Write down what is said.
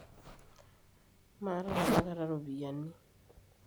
maata tenakata iropiani